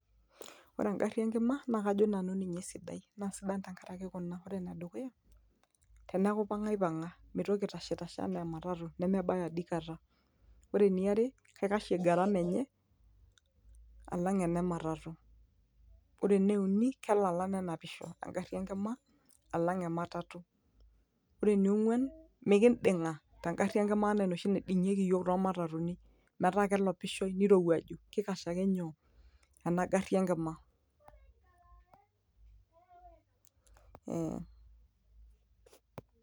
ore engarri enkima naa kajo nanu ninye esidai naa sidan tenkaraki kuna ore enedukuya teneeku ipang'a ipang'a mitoki aitashitashe enaa ematatu nemebaya adikata ore eniare kaikashie gharama enye alang ene matatu ore ene uni kelala nenapisho engarri enkima alang ematatu ore eniong'uan mikinding'a tengarri enkima anaa enoshi naiding'ieki iyiok tomatatuni metaa kelopishoe nirowuaju kikash ake nyoo ena garri enkima.